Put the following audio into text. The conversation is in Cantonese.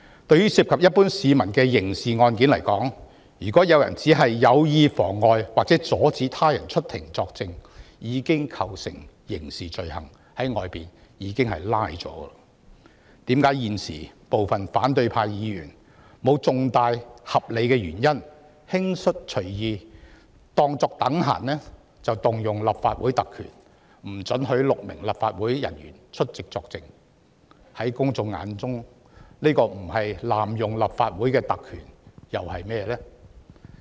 在涉及一般市民的刑事案件中，如果有人有意妨礙或阻止他人出庭作證，已經構成刑事罪行，會被拘捕，現時反對派議員沒有合理原因隨意引用立法會特權，阻止6名立法會人員出庭作證，在公眾眼中，這不是濫用立法會特權又是甚麼呢？